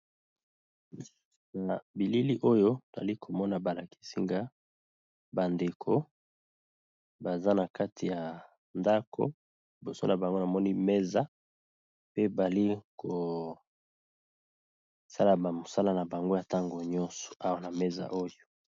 Na bilili oyo nali komona balakisinga bandeko baza na kati ya ndako liboso na bango namoni mesa pe bali kosala bamosala na bango y ntango nyonso awa na meza oyo.